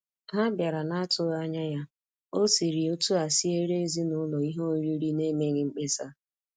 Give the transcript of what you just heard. Ha bịara n'atụghị anya ya, ọ siri otu a siere ezinaụlọ ihe oriri n'emeghị mkpesa.